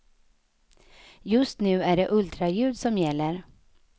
Just nu är det ultraljud som gäller.